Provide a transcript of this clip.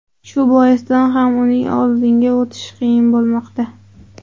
Shu boisdan ham uning oldinga o‘tishi qiyin bo‘lmoqda.